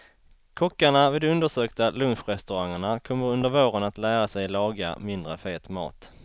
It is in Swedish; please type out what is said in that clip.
Kockarna vid de undersökta lunchrestaurangerna kommer under våren att lära sig laga mindre fet mat.